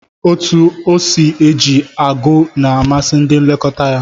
Otú o si eji ogụ̀ na amasị ndị nlekọta ya